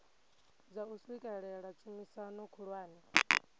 dza u swikelela tshumisano khulwane